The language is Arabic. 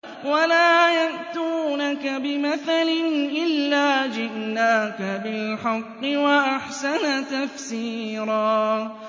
وَلَا يَأْتُونَكَ بِمَثَلٍ إِلَّا جِئْنَاكَ بِالْحَقِّ وَأَحْسَنَ تَفْسِيرًا